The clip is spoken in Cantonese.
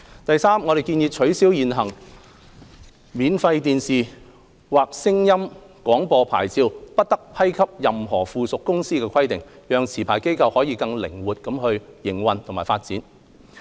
第三，我們建議取消現行免費電視或聲音廣播牌照不得批給任何附屬公司的規定，讓持牌機構可更靈活營運和發展。